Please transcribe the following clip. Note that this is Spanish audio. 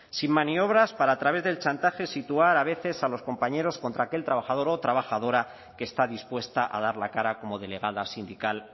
sin maniobras para a través del chantaje situar a veces a los compañeros contra aquel trabajador o trabajadora que está dispuesta a dar la cara como delegada sindical